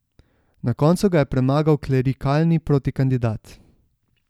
Na koncu ga je premagal klerikalni protikandidat.